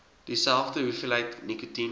dieselfde hoeveelheid nikotien